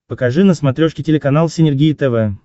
покажи на смотрешке телеканал синергия тв